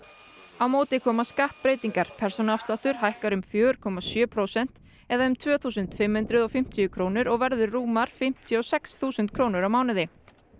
á móti koma skattbreytingar persónuafsláttur hækkar um fjögur komma sjö prósent eða um tvö þúsund fimm hundruð og fimmtíu krónur og verður rúmar fimmtíu og sex þúsund krónur á mánuði